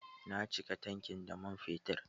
Na cika tankin da man fetur.